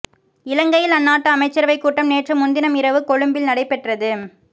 இலங்கையில் அந்நாட்டு அமைச்சரவை கூட்டம் நேற்று முன்தினம் இரவு கொழும்பில் நடைபெற்றது